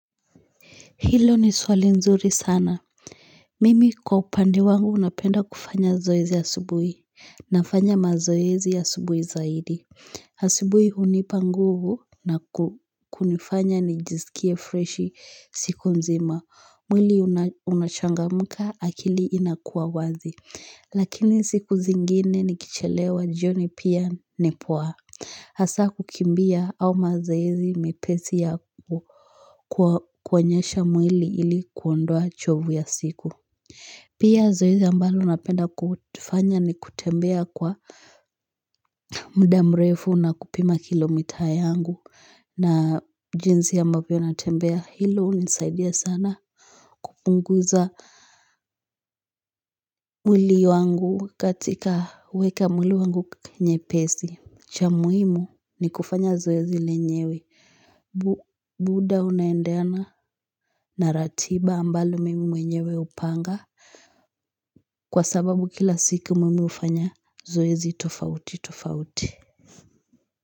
Hilo ni swali nzuri sana Mimi kwa upande wangu napenda kufanya zoezi asubuhi Nafanya mazoezi ya asubuhi zaidi Asubuhi hunipa nguvu na kunifanya nijisikie freshi siku mzima mwili unachangamka akili inakuwa wazi Lakini siku zingine nikichelewa jioni pia ni poa hasaa kukimbia au mazoezi mepesi yaku kuonyesha mwili ili kuondoa chovu ya siku. Pia zoezi ambalo napenda kufanya ni kutembea kwa muda mrefu na kupima kilomita yangu. Na jinsi ambavyo natembea hilo hunisaidia sana. Unguza mwili wangu katika weka mwili wangu nyepesi Chwa muhimu ni kufanya zoezi lenyewe. Muda unaendeana na ratiba ambalo mimi mwenyewe hupanga Kwa sababu kila siku mimi hufanya zoezi tofauti tofauti.